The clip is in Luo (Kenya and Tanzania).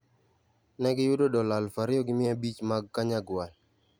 Ne giyudo dola 2,500 mag Kanyagwal.